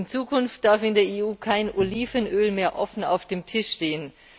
In Zukunft darf in der EU kein Olivenöl mehr offen auf dem Tisch stehen.